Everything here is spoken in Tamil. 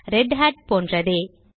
ரெதட் போன்றதே